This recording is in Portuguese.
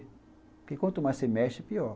Porque quanto mais você mexe, pior.